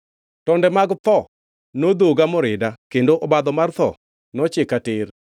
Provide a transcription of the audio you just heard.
Tonde mag tho nondhoga morida kendo obadho mar tho nochika tir.